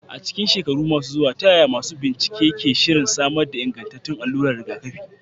A cikin shekaru masu zuwa, ta yaya masu bincike ke shirin samar da ingantattun alluran rigakafi?